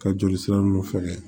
Ka joli sira nunnu fɛgɛ